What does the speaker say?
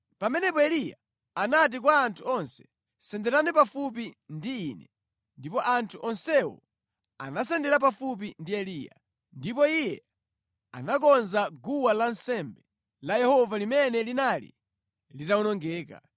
Pamenepo Eliya anati kwa anthu onse, “Senderani pafupi ndi ine.” Ndipo anthu onsewo anasendera pafupi ndi iye, ndipo iye anakonza guwa lansembe la Yehova limene linali litawonongeka.